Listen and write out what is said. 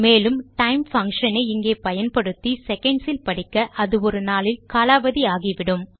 மேலும் time function ஐ இங்கே பயன்படுத்தி செகண்ட்ஸ் இல் படிக்க அது ஒரு நாளில் காலாவதி ஆகிவிடும்